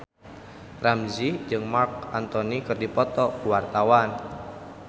Ramzy jeung Marc Anthony keur dipoto ku wartawan